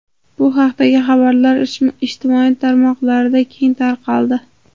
Bu haqdagi xabarlar ijtimoiy tarmoqlarda keng tarqaldi.